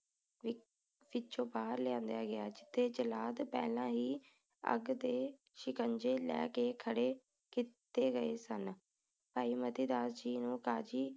ਵਿੱਚੋ ਬਾਹਰ ਲੈ ਆਇਆ ਗਿਆ ਜਿਥੇ ਜੱਲਾਦ ਪਹਿਲਾ ਹੀ ਅੱਗ ਦੇ ਸ਼ਿਕੰਜੇ ਲੈ ਕੇ ਖੜੇ ਕੀਤੇ ਗਏ ਸਨ ਭਾਈ ਮਤੀ ਦਾਸ ਜੀ ਨੂੰ ਕਾਜੀ